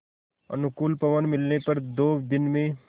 अनुकूल पवन मिलने पर दो दिन में